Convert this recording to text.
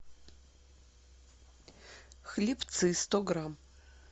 хлебцы сто грамм